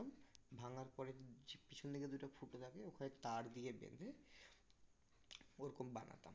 ভাঙার পরে যে পিছন দিকে দুটো ফুটো থাকে ওখানে তার দিয়ে বেঁধে ওরকম বানাতাম